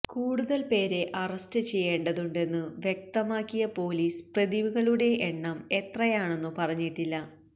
കൂടുതൽ പേരെ അറസ്റ്റ് ചെയ്യേണ്ടതുണ്ടെന്നു വ്യക്തമാക്കിയ പൊലീസ് പ്രതികളുടെ എണ്ണം എത്രയാണെന്നു പറഞ്ഞിട്ടില്ല